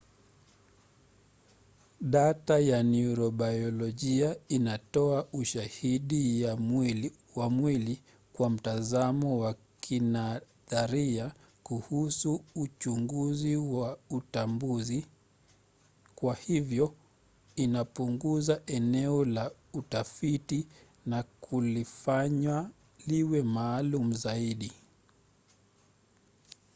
data ya neurobayolojia inatoa ushahidi wa mwili kwa mtazamo wa kinadharia kuhusu uchunguzi wa utambuzi. kwa hivyo inapunguza eneo la utafiti na kulifanya liwe maalum zaidi